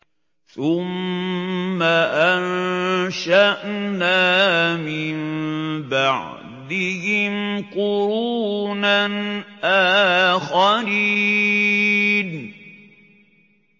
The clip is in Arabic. ثُمَّ أَنشَأْنَا مِن بَعْدِهِمْ قُرُونًا آخَرِينَ